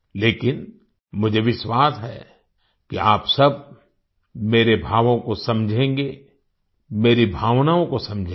लेकिन मुझे विश्वास है कि आप सब मेरे भावों को समझेंगे मेरी भावनाओं को समझेंगे